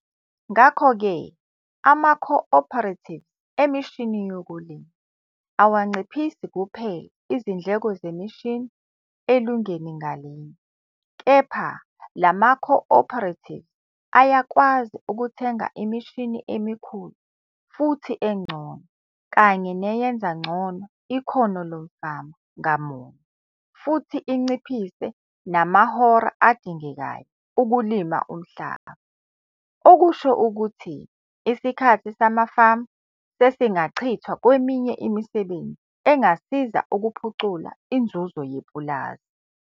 Ngakho-ke amaco-operatives emishini yokulima awanciphisi kuphela izindleko zemishini elungeni ngalinye, kepha la maco-operatives ayakwazi ukuthenga imishini emikhulu futhi engcono kanye ne-eyenza ngcono ikhono lomfama ngamunye futhi inciphise namahora adingekayo ukulima umhlaba, okusho ukuthi isikhathi samafama sesingachithwa kweminye imisebenzi engasiza ukuphucula inzuzo yepulazi.